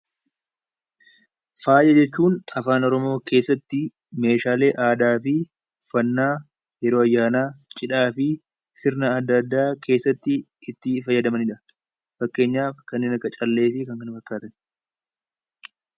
Faaya jechuun afaan oromoo keessatti meeshaalee aadaa fi yeroo ayyaanaa, cidhaa fi sirna adda addaa keessatti itti fayyadamanidha. Fakkeenyaaf kanneen akka callee fi kanneen kana fakkaatan